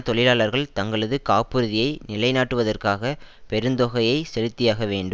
தொழிலாளர்கள் தங்களது காப்புறுதியை நிலைநாட்டுவதற்காக பெருந்தொகையை செலுத்தியாக வேண்டு